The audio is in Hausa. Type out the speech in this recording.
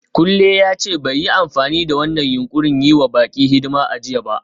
Kunle ya ce bai yi amfani da wannan yunƙurin yi wa baƙi hidima a jiya ba.